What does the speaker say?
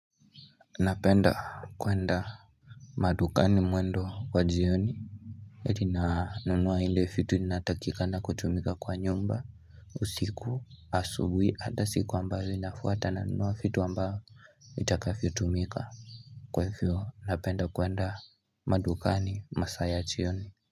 Napenda kwenda madukani mwendo wajioni eti na nunua ile fitu inatakika na kutumika kwa nyumba usiku asubuhi hata siku ambayo inafuata na nunua fitu ambayo Itakavyotumika Kwa hivyo napenda kwenda madukani masayachioni.